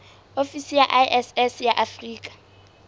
ofisi ya iss ya afrika